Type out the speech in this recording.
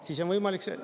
Siis on võimalik …